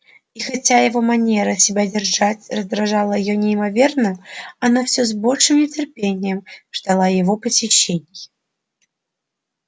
и хотя его манера себя держать раздражала её неимоверно она всё с большим нетерпением ждала его посещений